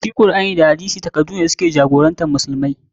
Shi Kur'ani da hadisi takaddune da su ke jagorantar musulmai.